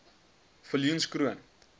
viljoenskroon